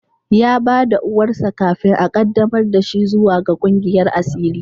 Ya ba da uwarsa kafin a qaddamar da shi zuwa ga kungiyar asiri.